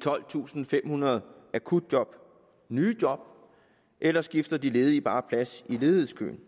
tolvtusinde og femhundrede akutjob nye job eller skifter de ledige bare plads i ledighedskøen